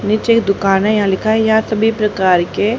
नीचे एक दुकान है यहां लिखा है यहां सभी प्रकार के--